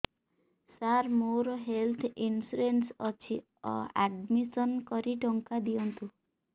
ସାର ମୋର health insurance ଅଛି admission କରି ଟଙ୍କା ଦିଅନ୍ତୁ